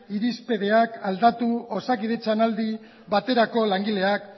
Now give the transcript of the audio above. irizpideak aldatu osakidetzan aldi baterako langileak